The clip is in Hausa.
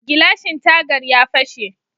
Gilashin tagar ya fashe.